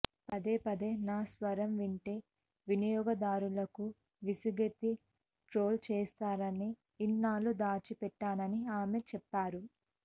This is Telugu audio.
పదే పదే నా స్వరం వింటే వినియోగదారులకు విసుగెత్తి ట్రోల్ చేస్తారని ఇన్నాళ్లూ దాచిపెట్టానని ఆమె చెప్పారు